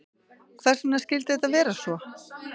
Hvers vegna skyldi þetta vera svo?